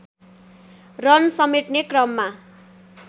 run समेट्ने क्रममा